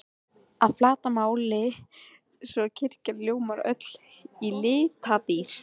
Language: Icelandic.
að flatarmáli, svo kirkjan ljómar öll í litadýrð.